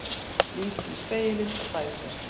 Lítur í spegilinn og dæsir.